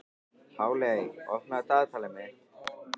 Páley, opnaðu dagatalið mitt.